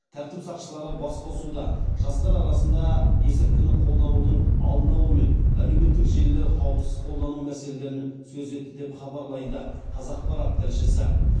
тәртіп сақшылары басқосуда жастар арасында есірткіні қолданудың алдын алу мен әлеуметтік желілер қауіпсіз қолдану мәселелерін сөз етті деп хабарлайды қазақпарат тілшісі